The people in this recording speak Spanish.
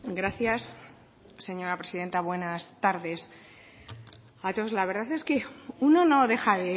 gracias señora presidenta buenas tardes a todos la verdad es que uno no deja